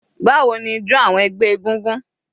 Báwo ni ijọ awọn ẹgbẹ́ egúngún?